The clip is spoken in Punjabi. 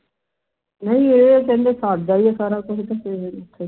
ਨਹੀਂ ਇਹ ਕਹਿੰਦੇ ਸਾਇਦ ਦਾ ਹੀ ਹੈ ਸਾਰਾ ਕੁਝ ਤੇ ਫੇਰ ਓਥੇ ਕੀ ਕਹਿੰਦੇ